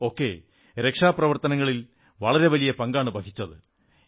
എഫും ഒക്കെ രക്ഷാ പ്രവർത്തനങ്ങളിൽ വളരെ വലിയ പങ്കാണു വഹിച്ചത്